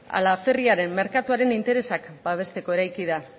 ala ferriaren merkatuaren interesak babesteko eraiki da